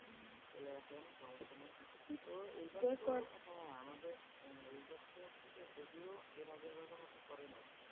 চলে আসেন সমস্যা নাই ।তো এইবার তো হ্যাঁ আমাদের আহ এইবার তো হচ্ছে যে, যদিও এর আগের বারের মতো পরে নাই।